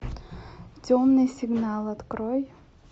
темный сигнал открой